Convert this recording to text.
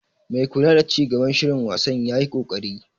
Mai kula da ci gaban shirin wasan yayi koƙari.